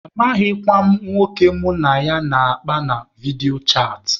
Amaghịkwa m nwoke mụ na ya na-akpa na vidiyo chaatị.